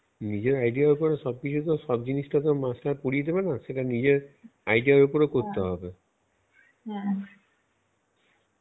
নিজের idea র উপর সব কিছু তো সব জিনিস আর master পড়িয়ে দেবে না নিজের idea উপরে করতে হবে